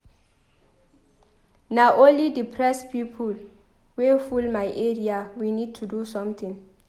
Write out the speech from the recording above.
Na only depressed people wey full my area. We need to do something.